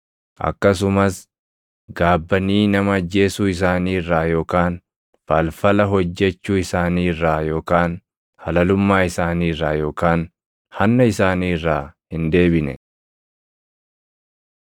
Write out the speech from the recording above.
Akkasumas gaabbanii nama ajjeesuu isaanii irraa yookaan falfala hojjechuu isaanii irraa yookaan halalummaa isaanii irraa yookaan hanna isaanii irraa hin deebine.